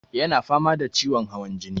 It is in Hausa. Ya na fama da ciwon hawan jini.